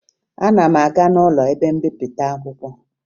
Ana ma aga n'ụlọ ebe mbipụta akwụkwọ